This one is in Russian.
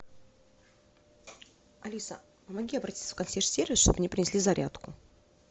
алиса помоги обратиться в консьерж сервис чтобы мне принесли зарядку